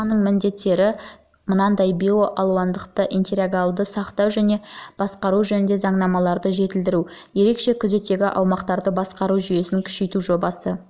бұл жобаның міндеттері мынадай биоалуандылықты интегралды сақтау және басқару жөніндегі заңнамаларды жетілдіру ерекше күзеттегі аумақтарды басқару жүйесін күшейту жоба